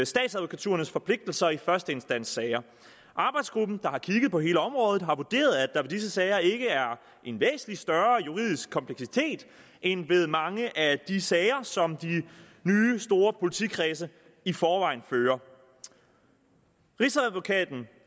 statsadvokaturernes forpligtelser i første instans sager arbejdsgruppen der har kigget på hele området har vurderet at der ved disse sager ikke er en væsentlig større juridisk kompleksitet end ved mange af de sager som de nye store politikredse i forvejen fører rigsadvokaten